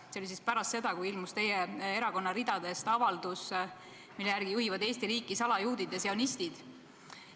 See oli pärast seda, kui teie erakonna ridadest oli tulnud avaldus, mille järgi juhivad Eesti riiki salajuudid ja sionistid.